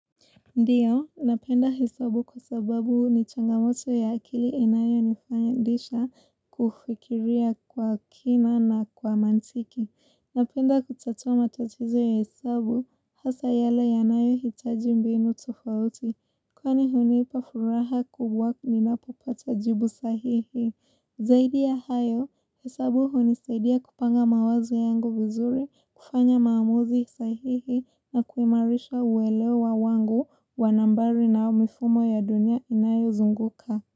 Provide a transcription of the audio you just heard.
Ndiyo, napenda hesabu kwa sababu ni changamoto ya akili inayonifanyisha kufikiria kwa kina na kwa mantiki. Napenda kutatua matatizo ya hesabu, hasa yale yanayohitaji mbinu tofauti. Kwani hunipa furaha kubwa ninapopata jibu sahihi. Zaidi ya hayo, hesabu hunisaidia kupanga mawazo yangu vizuri kufanya maamuzi sahihi na kuimarisha uelewa wangu wa nambari na mifumo ya dunia inayozunguka.